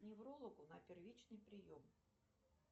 к неврологу на первичный прием